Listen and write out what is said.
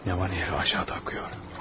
Nəhər aşağıda axıyor.